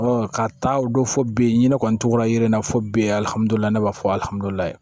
ka taa o don fɔ bi ɲini kɔni tugura ye na fɔ bi alihamudulila ne b'a fɔ haliye